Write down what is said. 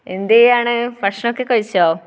എന്ത് ചെയ്യാണ്? ഭക്ഷണം ഒക്കെ കഴിച്ചോ?